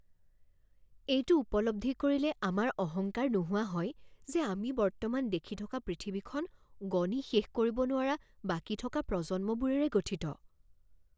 এইটো উপলব্ধি কৰিলে আমাৰ অহংকাৰ নোহোৱা হয় যে আমি বৰ্তমান দেখি থকা পৃথিৱীখন গণি শেষ কৰিব নোৱৰা বাকী থকা প্ৰজন্মবোৰেৰে গঠিত।